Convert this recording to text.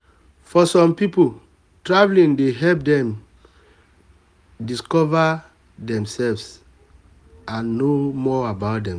for some people traveling dey help them discover and know themselves more.